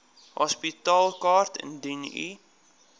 hospitaalkaart indien u